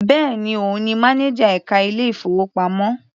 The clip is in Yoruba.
Bẹ́ẹ̀ni, òun ni mánájà ẹka ilé ìfowópamọ́.